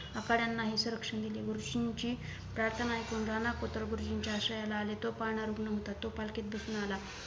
आखाड्यांना हि संरक्षण दिले गुरुजींची प्रार्थना एकूण राणा पुत्र गुरुजींच्या आश्रयाला आले तो पाणा रुग्ण होता तो पालकीत दिसून आला